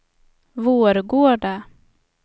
Vårgårda